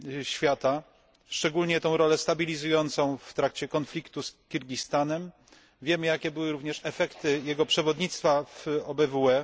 świata szczególnie tę rolę stabilizującą w trakcie konfliktu z Kirgistanem wiemy, jakie były również efekty jego przewodnictwa w OBWE.